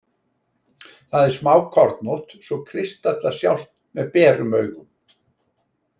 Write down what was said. Það er smákornótt svo kristallar sjást með berum augum.